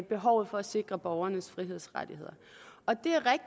behovet for at sikre borgernes frihedsrettigheder